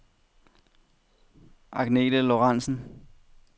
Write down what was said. Agnethe Lorentsen